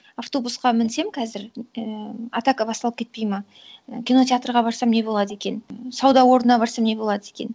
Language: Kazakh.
автобусқа мінсем қазір і атака басталып кетпейді ма і кинотеатрға барсам не болады екен і сауда орнына барсам не болады екен